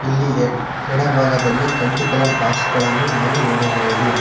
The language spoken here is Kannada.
ಇಲ್ಲಿ ಎ ಎಡಭಾಗದಲ್ಲಿ ಕೆಂಪು ಕಲರ್ ಬಾಕ್ಸ ಗಳನ್ನು ನಾವು ನೋಡಬಹುದು.